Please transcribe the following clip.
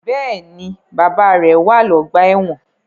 Bẹẹni, bàbá rẹ wá ọgbà ẹwọn